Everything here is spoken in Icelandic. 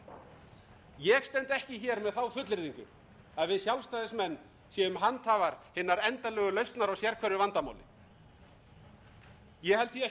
ég stend ekki hér með þá fullyrðingu að við sjálfstæðismenn séum handhafar hinnar endanlegu lausnar á sérhverju vandamáli ég held því ekki fram